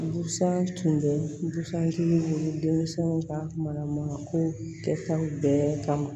Busan tun bɛ busan kelen bolo denmisɛnw ka manako kɛ taw bɛɛ kama